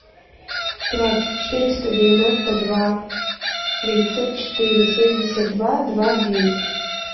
пять четыреста девяносто два девятьсот четыре семьдесят два два девять